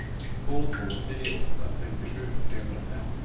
två två tre åtta femtiosju trehundrafem